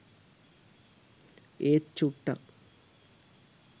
ඒත් චුට්ටක්